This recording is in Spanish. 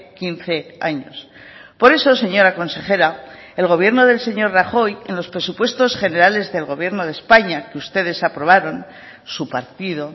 quince años por eso señora consejera el gobierno del señor rajoy en los presupuestos generales del gobierno de españa que ustedes aprobaron su partido